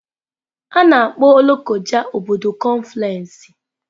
A na-akpọ Lokoja obodo kọnfluensị.